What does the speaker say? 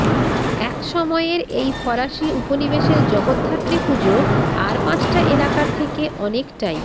এক সময়ের এই ফরাসি উপনিবেশের জগদ্ধাত্রী পুজো আর পাঁচটা এলাকার থেকে অনেকটাই